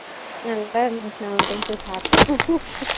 நல்லா இருந்துச்சு நான் ஒரு time போய் சாப்டேன்